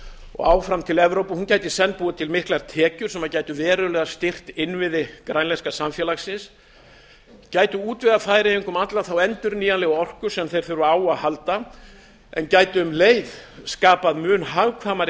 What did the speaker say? og áfram til evrópu gæti í senn búið til miklar tekjur sem gætu verulega styrkt innviði grænlenska samfélagsins gæti útvegað færeyingum alla þá endurnýjanlegu orku sem þeir þurfa á að halda en um leið skapað mun hagkvæmari